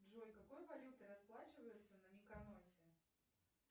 джой какой валютой расплачиваются на миконосе